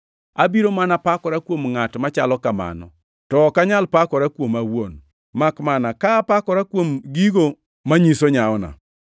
Abiro mana pakora kuom ngʼat machalo kamano, to ok anyal pakora kuoma awuon, makmana ka apakora kuom gigo manyiso nyawona.